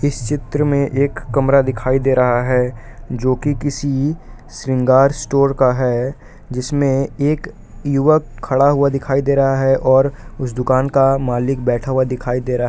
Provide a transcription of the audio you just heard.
इस चित्र में एक कमरा दिखाई दे रहा है जो कि किसी श्रृंगार स्टोर का है जिसमें एक युवक खड़ा हुआ दिखाई दे रहा है और उस दुकान का मालिक बैठा हुआ दिखाई दे रहा।